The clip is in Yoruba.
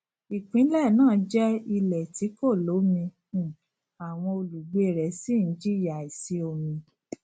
ìpínlẹ náà jẹ ilè tí kò lómi um àwọn olùgbé rẹ sì n jìyà àìsí omi